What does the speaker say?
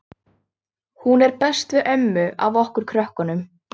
Hún er best við ömmu af okkur krökkunum.